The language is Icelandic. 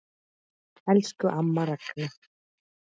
Elsku amma Ragna.